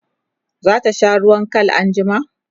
zata sha ruwan Kal anjima?